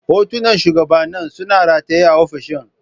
Hotunan shugabanni suna rataye a ofishin.